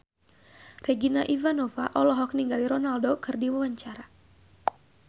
Regina Ivanova olohok ningali Ronaldo keur diwawancara